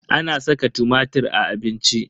Ana saka tumatir a abinci.